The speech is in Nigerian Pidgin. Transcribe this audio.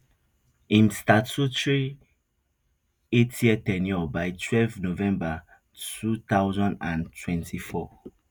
im statutory eightyear ten ure by twelve november two thousand and twenty-four